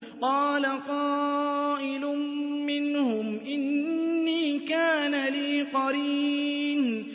قَالَ قَائِلٌ مِّنْهُمْ إِنِّي كَانَ لِي قَرِينٌ